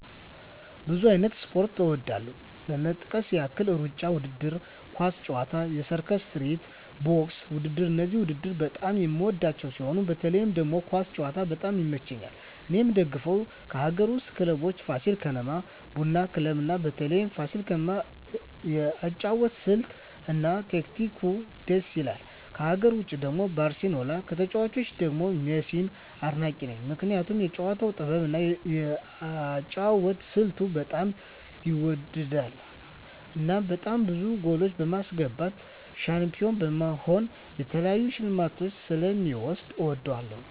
ብዙ አይነት ስፖርት እወዳለሁ ለመጥቀስ ያህል እሩጫ ውድድር፣ ኳስ ጨዋታ፣ የሰርከስ ትርኢት፣ ቦክስ ውድድር እነዚህን ውድድር በጣም የምወዳቸው ሲሆን በተለይ ደግሞ ኳስ ጨዋታ በጣም ይመቸኛል እኔ የምደግፈው ከአገር ውስጥ ክለቦች ፋሲል ከነማ እና ቡና ክለብ ነው በተለይ ፋሲል ከነማ የአጨዋወት ስልት እና ታክቲኩ ድስ ይላል ከሀገር ውጭ ደግሞ ባርሴሎና ከተጫዋቾቹ ደግሞ ሜሲን አድናቂ ነኝ ምክንያቱም የጨዋታው ጥበብ እና የአጨዋወት ስልቱ በጣም ይወደድለታል እናም በጣም ብዙ ጎሎች በማስገባት ሻንፒሆን በመሆን የተለያዩ ሽልማቶችን ስለ ሚወስድ እወደዋለሁ።